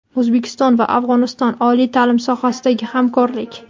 O‘zbekiston va Afg‘oniston: oliy taʼlim sohasidagi hamkorlik.